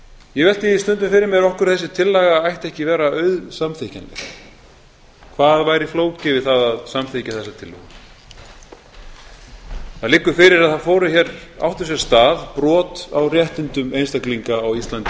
ég velti því stundum fyrir mér af hverju þessi laga ætti ekki að vera auðsamþykkjanleg hvað væri flókið við það að samþykkja þessa tillögu það liggur fyrir að það áttu sér stað brot á réttindum einstaklinga á íslandi í